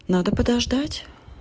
надо подождать